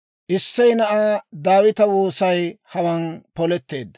Issey na'aa Daawita woosay hawaan poletteedda.